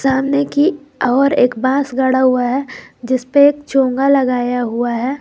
सामने की ओर एक बॉस गड़ा हुआ है जिस पे एक चोंगा लगाया हुआ है।